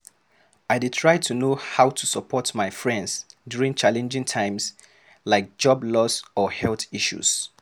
I dey struggle to know how to support my friends during challenging times, like job loss or health issues.